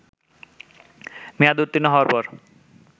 মেয়াদ উত্তীর্ণ হওয়ার পর